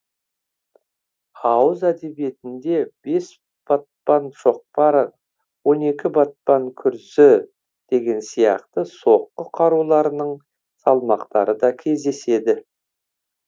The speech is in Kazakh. ауыз әдебиетінде бес батпан шоқпар он екі батпан күрзі деген сияқты соққы қаруларының салмақтары да кездеседі